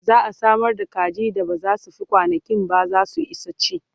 za'a Samar da kaji da ba zai Fi kwanankinba zasu Isa ci